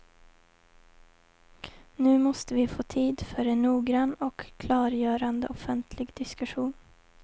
Nu måste vi få tid för en noggrann och klargörande offentlig diskussion.